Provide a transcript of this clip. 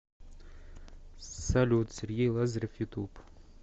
салют сергей лазарев ютуб